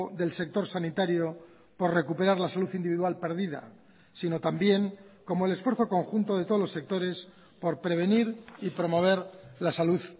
del sector sanitario por recuperar la salud individual perdida sino también como el esfuerzo conjunto de todos los sectores por prevenir y promover la salud